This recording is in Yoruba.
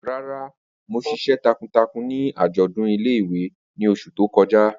Rara, Mo ṣiṣẹ takuntakun ni ajọdun ile-iwe ni oṣu to kọja.